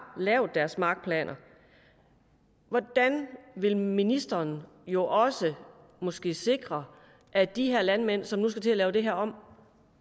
lavet deres markplaner hvordan vil ministeren jo også måske sikre at de her landmænd som nu skal til at lave det her om